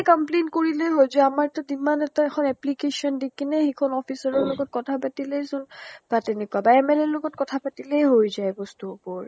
complaint কৰিলে হৈ যায় আমাৰ টো demand letter এখন application দি কিনে সেইখন officer ৰ লগত কথা পাতিলেই চোন বা তেনেকুৱা বা MLA ৰ লগত কথা পাতিলেই হৈ যায় বস্তু বোৰ